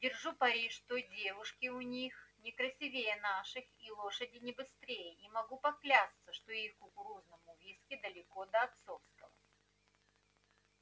держу пари что девушки у них не красивее наших и лошади не быстрее и могу поклясться что их кукурузному виски далеко до отцовского